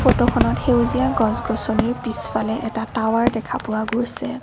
ফটোখনত সেউজীয়া গছ-গছনিৰ পিছফালে এটা টাৱাৰ দেখা পোৱা গৈছে।